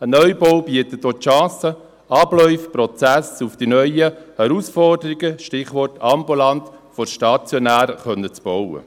Ein Neubau bietet auch die Chance, Abläufe, Prozesse auf die neuen Herausforderungen – Stichwort: ambulant vor stationär – abstimmen zu können.